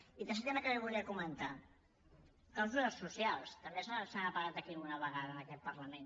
i tercer tema que li volia comentar clàusules socials també se n’ha parlat aquí alguna vegada en aquest parlament